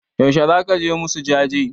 Yaushe zaka je musu jaje?